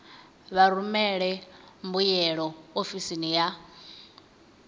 vha rumele mbuyelo ofisini ya